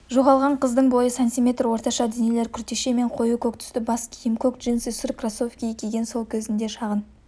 жоғалған қыздың бойы сантиметр орташа денелі күртеше мен қою көк түсті бас киім көк джинсы сұр кроссовкі киген сол көзінде шағын